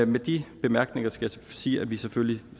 med de bemærkninger skal jeg sige at vi selvfølgelig